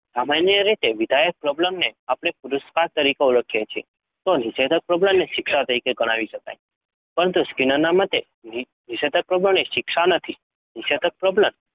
સામાન્ય રીતે વિધાયક પ્રબલનને આપણે પુરસ્કાર તરીકે ઓળખીએ તો નિષેધક પ્રબલનને શિક્ષા તરીકે ગણાવી શકાય પરંતુ સ્કિનરના મતે નિષેધક પ્રબલન એ શિક્ષા નથી. નિષેધક પ્રબલન